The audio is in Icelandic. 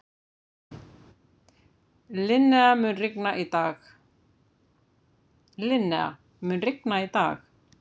Linnea, mun rigna í dag?